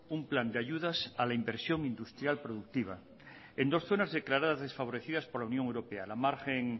un plan de ayudas a la inversión industrial productiva en dos zonas declaradas desfavorecidas por la unión europea la margen